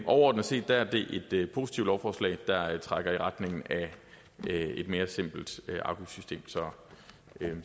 overordnet set er det et positivt lovforslag der trækker i retning af et mere simpelt afgiftssystem så